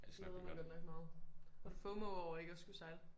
Glæder mig godt nok meget. Har du fomo over ikke at skulle sejle?